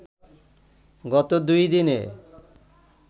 গত দুইদিনে